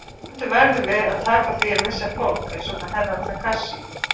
Stundum verðum við að taka því að missa fólk, eins og með Herra Takashi.